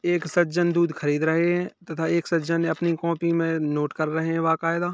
एक सज्जन दूध खरीद रहे है तथा एक सज्जन ने अपनी कॉपी में नोट कर रहे है वकायदा --